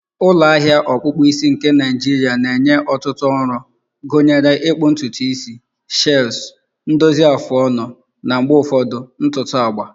ulo ahia ọkpụkpụ isi nke Naịjirịa na-enye ọtụtụ ọrụ, gụnyere ịkpụ ntutu isi, shaves, ndozi afụ ọnụ, na mgbe ụfọdụ ntutu agba